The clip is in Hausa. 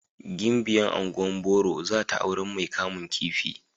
Gimbiya ungwan boro zata auren mai kamun kifi.